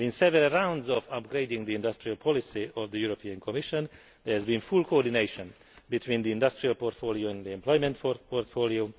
In several rounds of upgrading the industrial policy of the European Commission there has been full coordination between the industrial portfolio and the employment portfolio.